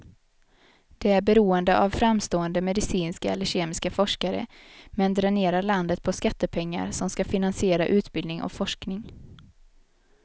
Det är beroende av framstående medicinska eller kemiska forskare, men dränerar landet på skattepengar som ska finansiera utbildning och forskning.